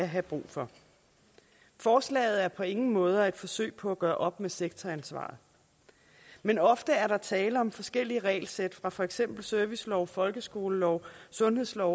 have brug for forslaget er på ingen måder et forsøg på at gøre op med sektoransvaret men ofte er der tale om forskellige regelsæt fra for eksempel servicelov folkeskolelov sundhedslov